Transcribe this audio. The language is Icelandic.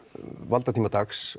valdatíma Dags